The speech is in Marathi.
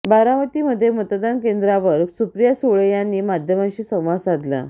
बारामतीमध्ये मतदान केंद्रावर सुप्रिया सुळे यांनी माध्यमांशी संवाद साधला